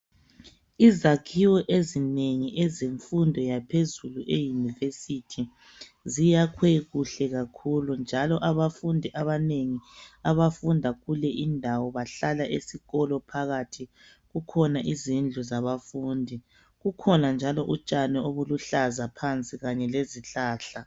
Izakhiwo ezinengi ezemfundo yaphezulu e University, ziyakhwe kuhle kakhulu. Njalo abafundi abanengi abafunda kule indawo bahlala esikolo phakathi. Kukhona izindlu zabafundi. Kukhona njalo utshani obuluhlaza phansi kanye lezihlahla.